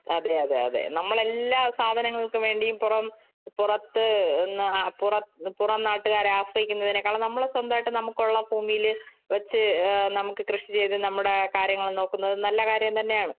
അതേയതെ അതേ. നമ്മള്‍ എല്ലാ സാധങ്ങള്‍ക്ക് വേണ്ടിയും പുറം പുറത്തു പുറം നാട്ടുകാരെ ആശ്രയിക്കുന്നതിനേക്കാളും നമ്മള് സ്വന്തമായിട്ട് നമുക്ക് ഉള്ള ഭൂമിയില് വച്ച് നമുക്ക് കൃഷി ചെയ്തു നമ്മുടെ കാര്യങ്ങള്‍ നോക്കുന്നത് നല്ല കാര്യം തന്നെയാണ്.